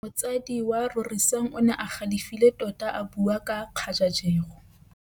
Motsadi wa Rorisang o ne a galefile tota a bua ka kgajajegô.